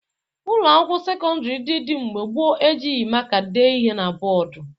Ụlọakwụkwọ sekọndịrị ndị dị mgbe gboo e jighi maka dee ihe na bọọdụ